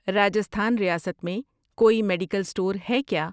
راجستھان ریاست میں کوئی میڈیکل سٹور ہے کیا؟